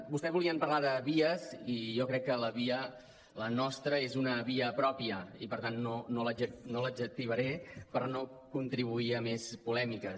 vostès volien parlar de vies i jo crec que la nostra és una via pròpia i per tant no l’adjectivaré per no contribuir a més polè·miques